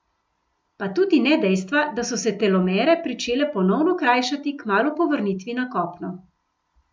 Pa tudi ne dejstva, da so se telomere pričele ponovno krajšati kmalu po vrnitvi na kopno.